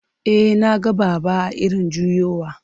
E, na ga Baba a irin juyowa.